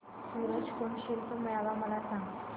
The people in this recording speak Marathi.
सूरज कुंड शिल्प मेळावा मला सांग